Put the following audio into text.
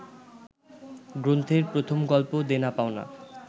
গ্রন্থের প্রথম গল্প দেনা পাওনা